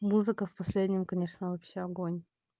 музыка в последнем конечно вообще огонь